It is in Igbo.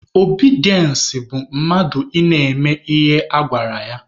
Obidiense bụ mmadụ ị na-eme ihe a gwara ya.